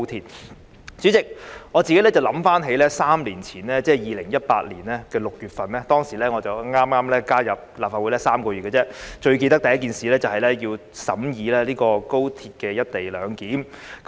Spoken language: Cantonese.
代理主席，我回想起3年前，即是2018年6月，當時我剛加入立法會3個月而已，最深刻的第一件事是審議《廣深港高鐵條例草案》。